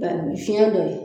Baari fiɲɛ dɔ ye.